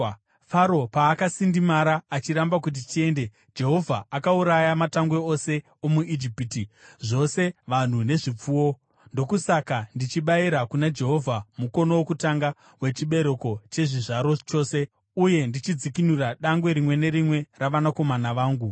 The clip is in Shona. Faro paakasindimara achiramba kuti tiende, Jehovha akauraya matangwe ose omuIjipiti, zvose vanhu nezvipfuwo. Ndokusaka ndichibayira kuna Jehovha mukono wokutanga wechibereko chechizvaro chose uye ndichidzikinura dangwe rimwe nerimwe ravanakomana vangu.’